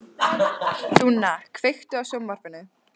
Dúnna, kveiktu á sjónvarpinu.